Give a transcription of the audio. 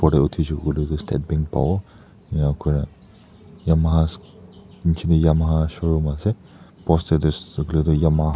uthishe koile tuh State Bank pavo enika kurna Yamaha nechidae Yamaha showroom ase poster dae Yamaha--